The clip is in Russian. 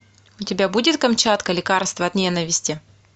у тебя будет камчатка лекарство от ненависти